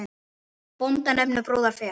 Bónda nefnum brúðar ver.